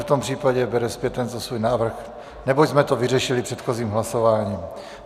V tom případě bere zpět tento svůj návrh, neboť jsme to vyřešili předchozím hlasováním.